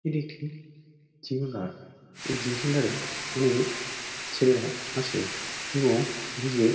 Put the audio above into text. এটি একটি জিও মার্ট এই জিম সেন্টার -এ অনেক ছেলেরা আসে এবং নিজের--